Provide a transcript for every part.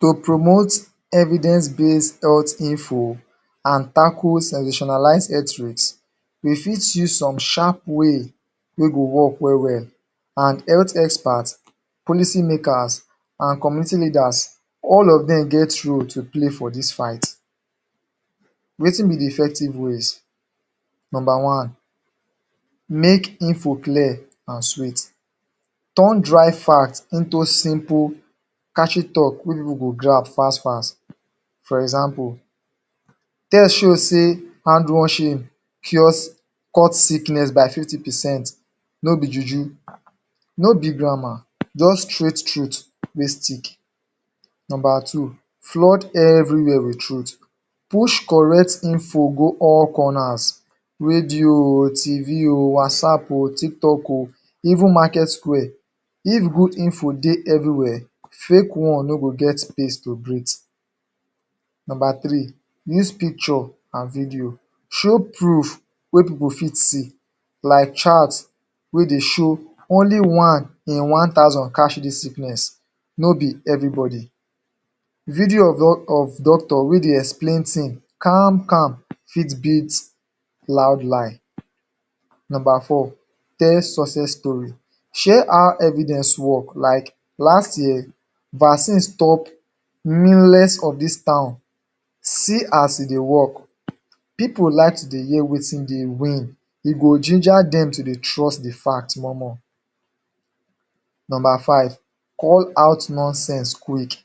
To promote evidence base health info an tackle sensationalize health risk, we fit use some sharp wey go work well-well. An health experts, policy makers, an community leaders, all of dem get roles to play for dis fight. Wetin be the effective ways? Nomba one: Make info clear an sweet. Turn dry fact into simple catchy talk wey pipu go grab fas-fas. For example, "Test show sey hand washing cuts sickness by 50%" No be juju; no be grammar; juz straight truth wey stick. Nomba Two: Flood everywhere with truth. Push correct info go all corners: Radio oh, TV oh, WhatsApp oh, TikTok oh, even Market Square. If good info dey everywhere, fake one no go get space to breathe. Nomba three: Use picture and video. Show proof wey pipu go fit see, like chart wey dey show "Only one in one thousand catch dis sickness," no be everybody. Video of doctor wey dey explain tin calm-calm fit beat loud line. Nomba four: Tell success story. Share how evidence work. Like, "Last year, vaccine stop of dis. See as e dey work". Pipu like to dey hear wetin dey win; e go ginger dem to dey trust the fact more-more. Nomba five: Call out nonsense quick.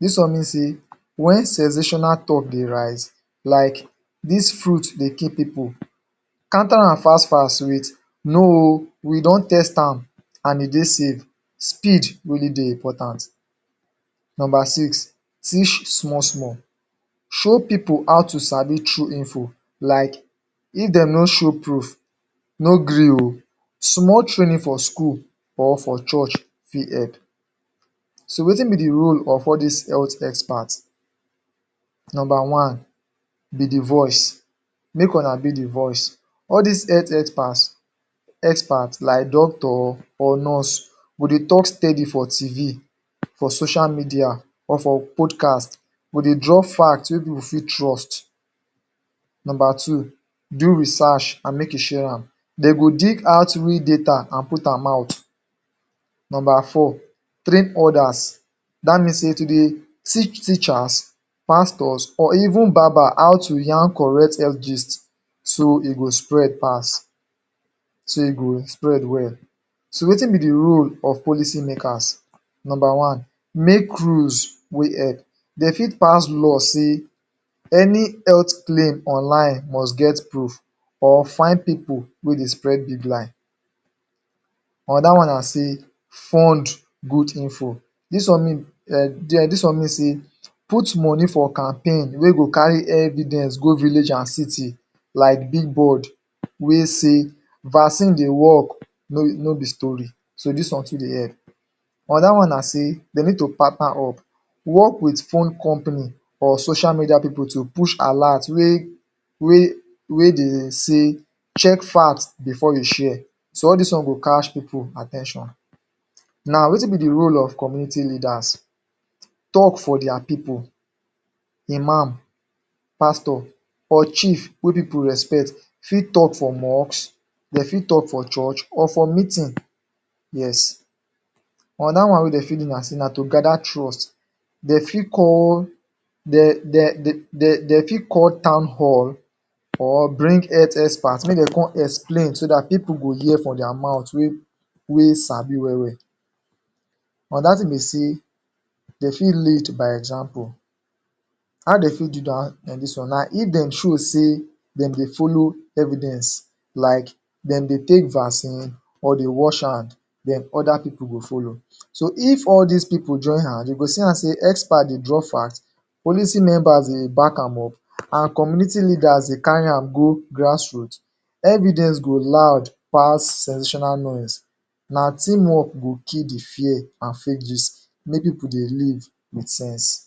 Dis one mean sey wen sensational talk dey rise like "Dis fruit dey kill pipu," counter am fas-fas with "No oh we don test am an e dey safe" Speed really dey important. Nomba six: Teach small-small. Show pipu how to sabi true info, like "If dem no show proof, no gree oh." Small training for school or for church fit help. So, wetin be the role of all dis health expert? Nomba one: Be the voice. Make una be the voice. All dis health expert like doctor or nurse go dey talk steady for TV, for social media or for podcast, go dey drop fact wey pipu fit trust. Nomba two: Do research an make you share am. De go dig out real data an put am out. Nomba four: Train others. Dat mean sey to dey teach teachers, pastors, or even barber how to yarn correct health gist so e go spread pass, so e go spread well. So, wetin be the role of policy makers? Nomba one: Make rules wey help. De fit pass law sey any health claim online must get proof, or fine people wey dey spread big lie. Another one na sey fund good info. Dis one mean er sey put money for campaign wey go carry evidence go village and city, like billboard wey say "Vaccine dey work, no be story." So, dis one too dey help. Another one na sey de need to partner up. Work with phone company or social media pipu to push alert wey wey dey say "Check fact before you share." So, all dis one go catch pipu at ten tion. Now, wetin be the role of community leaders? Talk for dia pipu. Imam, Pastor, or Chief wey pipu respect fit talk for mosque, de fit talk for church, or for meeting. Yes. Another one wey de fit do na sey na to gather trust. De fit call Town Hall or bring health expert make dem con explain so dat pipu go hear from dia mouth wey sabi well-well. Another tin be sey de fit lead by example. How de fit do dis one na if dem show sey dem dey follow evidence like dem dey take vaccine, or dey wash hand, then other pipu go follow. So, if all dis pipu join hand, you go see am sey experts dey draw fact, policy members dey back am up, an community leaders dey carry am go grassroot, evidence go loud pass sensational noise. Na team work go kill the fear an fake gist make pipu dey live with sense.